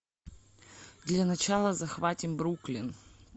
для начала захватим бруклин